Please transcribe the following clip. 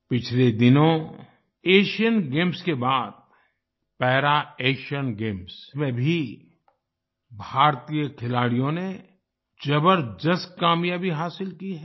पिछले दिनों Asian Games के बाद पारा एशियन गेम्स में भी भारतीय खिलाड़ियों ने जबरदस्त कामयाबी हासिल की है